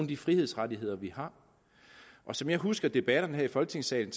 de frihedsrettigheder vi har og som jeg husker debatterne her i folketingssalen